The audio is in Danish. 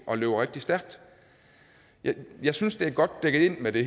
og løber rigtig stærkt jeg jeg synes det er godt dækket ind med det